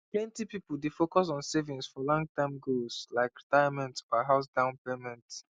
plenty people dey focus on saving for longterm goals like retirement or house down payment